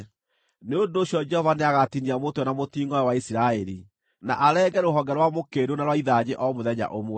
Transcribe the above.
Nĩ ũndũ ũcio Jehova nĩagatinia mũtwe na mũtingʼoe wa Isiraeli, na arenge rũhonge rwa mũkĩndũ na rwa ithanjĩ o mũthenya ũmwe.